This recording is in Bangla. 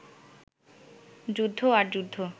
যুদ্ধ আর যুদ্ধ